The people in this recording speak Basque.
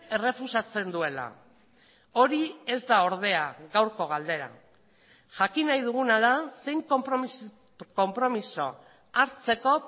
errefusatzen duela hori ez da ordea gaurko galdera jakin nahi duguna da zein konpromiso hartzeko